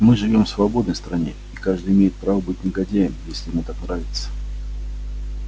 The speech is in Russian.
мы живём в свободной стране и каждый имеет право быть негодяем если ему так нравится